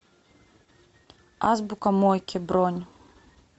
азбука мойки бронь